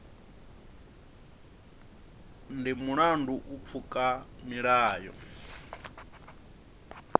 ndi mulandu u pfuka milayo